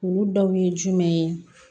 Olu dɔw ye jumɛn ye